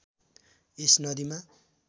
यस नदीमा